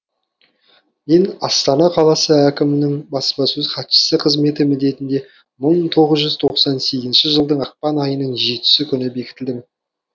мен астана қаласы әкімінің баспасөз хатшысы қызметі міндетіне мың тоғыз жүз тоқсан сезінші жылдың ақпан айының жетісі күні бекітілдім